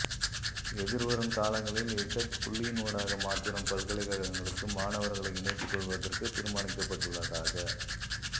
எதிர்வரும் காலங்களில் இசெட் புள்ளியினூடாக மாத்திரம் பல்கலைக்கழகங்களுக்கு மாணவர்களை இணைத்துக் கொள்வதற்கு தீர்மானிக்கப்பட்டுள்ளதாக